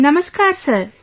Namaskar sir